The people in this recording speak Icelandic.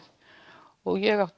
og ég átti